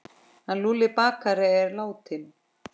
Hann Lúlli bakari er látinn.